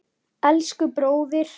Elsku, bróðir.